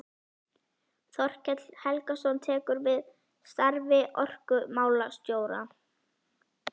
Þorkell Helgason tekur við starfi orkumálastjóra.